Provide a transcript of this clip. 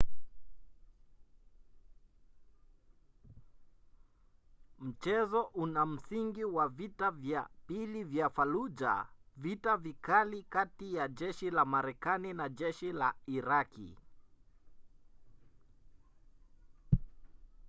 mchezo una msingi wa vita vya pili vya fallujah vita vikali kati ya jeshi la marekani na jeshi la iraqi